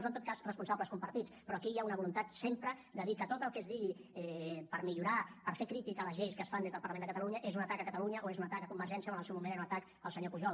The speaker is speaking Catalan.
o en tot cas responsables compartits però aquí hi ha una voluntat sempre de dir que tot el que es digui per millorar per fer crítica a les lleis que es fan des del parlament de catalunya és un atac a catalunya o és un atac a convergència o en el seu moment era un atac al senyor pujol